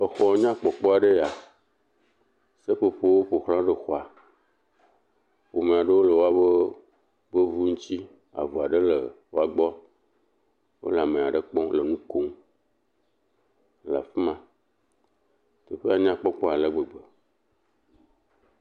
Xɔ nyakpɔkpɔ aɖe enye ya. Seƒoƒowo ƒo xlã xɔa. Ƒome aɖe le woƒe ŋu ŋuti, avu aɖe le wo gbɔ. Wole ame aɖe kpɔm le nu kom le fi ma. Teƒea nyakpɔkpɔ ale gbegbe.